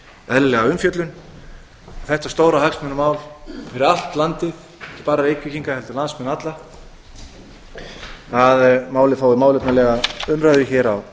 eðlilega umfjöllun þetta stóra hagsmunamál fyrir allt landið ekki bara reykvíkinga heldur landsmenn alla að málið fái málefnalega umræðu hér á